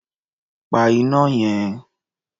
Pa iná yẹn.